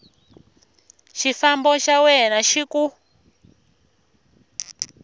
xifambo xa wena xi ku